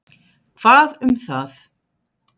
Hvað um það?